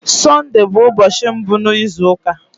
Sọnde bụ ụbọchị mbụ n'izu ụka.